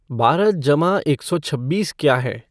बारह जमा एक सौ छब्बीस क्या हैं